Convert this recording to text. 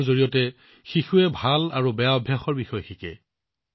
খেলৰ জৰিয়তে শিশুৱে ভাল আৰু বেয়া অভ্যাসৰ বিষয়ে শিকে